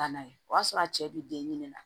N'a ye o y'a sɔrɔ a cɛ bi den ɲini na